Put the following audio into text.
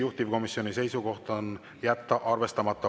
Juhtivkomisjoni seisukoht on jätta arvestamata.